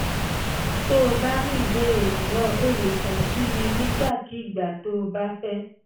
tó o bá ní ìbéèrè mìíràn o lè kàn sí mi nígbàkigbà tó o bá fẹ́